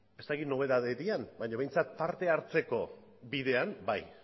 ez dakit nobedade diren baina behintzat parte hartzeko bidean bai